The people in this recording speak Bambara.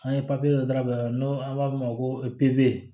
An ye papiye dɔ ta n'o an b'a f'o ma ko